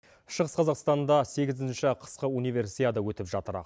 шығыс қазақстанда сегізінші қысқы универсиада өтіп жатыр